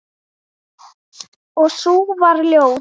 Og sú var ljót!